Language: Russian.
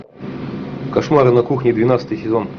кошмары на кухне двенадцатый сезон